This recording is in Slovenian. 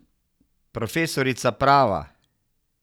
Profesorica prava.